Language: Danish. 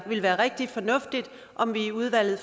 ville være rigtig fornuftigt om vi i udvalget